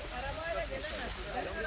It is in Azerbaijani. Aramayı da eləməyin.